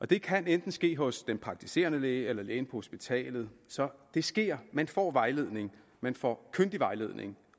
det kan enten ske hos den praktiserende læge eller lægen hospitalet så det sker man får vejledning man får kyndig vejledning